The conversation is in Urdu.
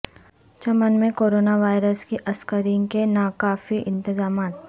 چمن میں کرونا وائرس کی اسکرینگ کے ناکافی انتظامات